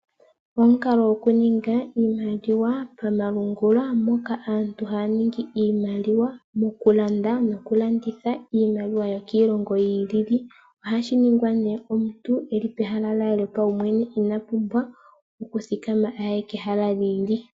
Omukalo gokulanda nokulanditha iimaliwa komalungula, mpoka aantu haya landa noku landitha iimaliwa yiilongo yi ili noyi ili komalungula. Ohashi ningwa nee omuntu eli pehala lye lyopaumwene ina pumbwa okuthikama aye pehala limwe li ili.